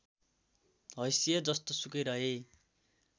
हैसियत जस्तोसुकै रहे